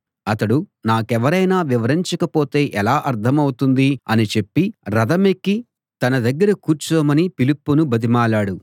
అతడు నాకెవరైనా వివరించకపోతే ఎలా అర్థమవుతుంది అని చెప్పి రథమెక్కి తన దగ్గర కూర్చోమని ఫిలిప్పును బతిమాలాడు